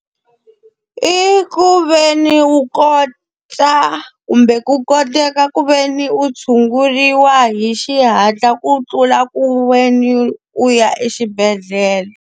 I ku ve ni u kota kumbe ku koteka ku ve ni u tshunguriwa hi xihatla ku tlula ku ve ni u ya exibedhlele.